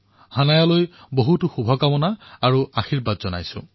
হানায়ালৈ অশেষ শুভকামনা আৰু আশীৰ্বাদ থাকিল